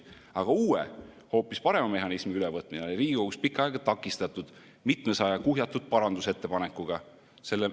Aga uue, hoopis parema mehhanismi ülevõtmine oli Riigikogus pikka aega takistatud mitmesaja kuhjatud parandusettepanekuga.